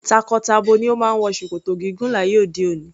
Tako-tabo ni o máa ń wọ ṣòkòtò gígùn láyé òde òni.